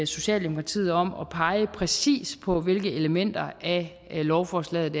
socialdemokratiet om at pege præcis på hvilke elementer af lovforslaget